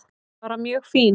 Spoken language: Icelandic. Bara mjög fín.